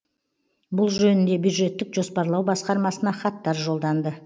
бұл жөнінде бюджеттік жоспарлау басқармасына хаттар жолданды